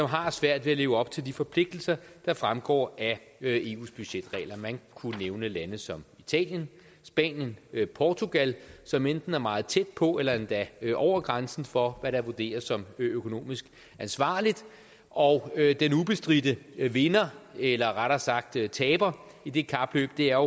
har svært ved at leve op til de forpligtelser der fremgår af eus budgetregler man kunne nævne lande som italien spanien portugal som enten er meget tæt på eller endda over grænsen for hvad der vurderes som økonomisk ansvarligt og den ubestridte vinder eller rettere sagt taber i det kapløb er